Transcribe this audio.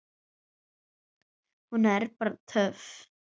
Hún er bara töff.